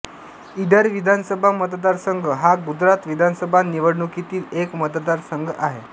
ईडर विधानसभा मतदारसंघ हा गुजरात विधानसभा निवडणुकीतील एक मतदारसंघ आहे